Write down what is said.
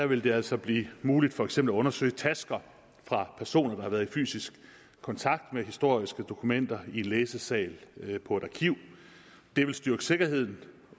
vil det altså blive muligt for eksempel at undersøge tasker fra personer der har været i fysisk kontakt med historiske dokumenter i en læsesal på et arkiv det vil styrke sikkerheden